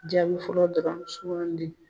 Jaabi fɔlɔ dɔrɔn sugandi.